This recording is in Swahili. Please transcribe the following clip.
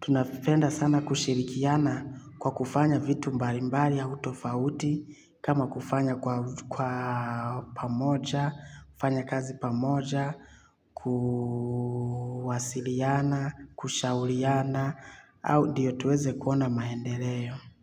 tunapenda sana kushirikiana kwa kufanya vitu mbalimbali au tofauti, kama kufanya kwa pamoja, kufanya kazi pamoja, kuwasiliana, kushauriana, au ndiyo tuweze kuona maendeleo.